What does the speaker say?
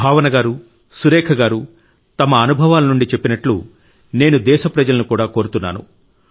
భావన గారు సురేఖ గారు తమ అనుభవాల నుండి చెప్పినట్లు నేను దేశ ప్రజలను కూడా కోరుతున్నాను